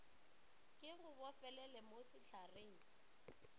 ke go bofelele mo sehlareng